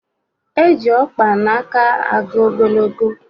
Eji ọkpa n'aka agụ ogologo